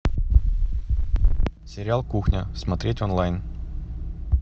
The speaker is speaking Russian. сериал кухня смотреть онлайн